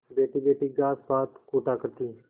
बैठीबैठी घास पात कूटा करती